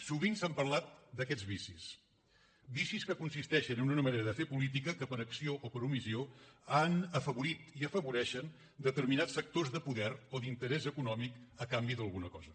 sovint s’ha parlat d’aquests vicis vicis que consisteixen en una manera de fer política que per acció o per omissió han afavorit i afavoreixen determinats sectors de poder o d’interès econòmic a canvi d’alguna cosa